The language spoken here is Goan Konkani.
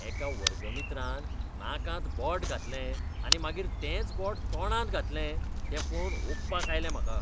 एका वर्गमित्रान नाकांत बोट घातलें आनी मागीर तेंच बोट तोंडांत घातलें तें पळोवन ओंकपाक आयलें म्हाका.